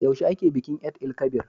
Yaushe ake bikin Eid-el-kabir?